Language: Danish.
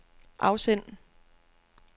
afsend